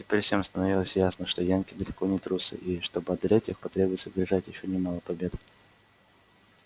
теперь всем становилось ясно что янки далеко не трусы и чтобы одолеть их потребуется одержать ещё немало побед